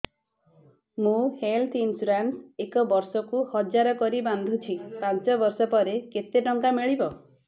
ମୁ health insurance ଏକ ବର୍ଷକୁ ହଜାର କରି ବାନ୍ଧୁଛି ପାଞ୍ଚ ବର୍ଷ ପରେ କେତେ ଟଙ୍କା ମିଳିବ